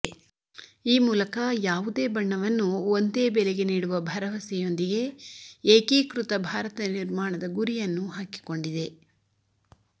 ಈ ಮೂಲಕ ಯಾವುದೇ ಬಣ್ಣವನ್ನು ಒಂದೇ ಬೆಲೆಗೆ ನೀಡುವ ಭರವಸೆಯೊಂದಿಗೆ ಏಕೀಕೃತ ಭಾರತ ನಿರ್ಮಾಣದ ಗುರಿಯನ್ನು ಹಾಕಿಕೊಂಡಿದೆ